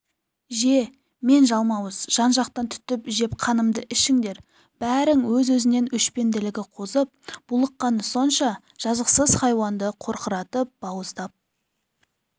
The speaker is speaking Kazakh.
же мен жалмауыз жан-жақтан түтіп жеп қанымды ішіңдер бәрің өз-өзінен өшпенділігі қозып булыққаны сонша жазықсыз хайуанды қорқыратып бауыздап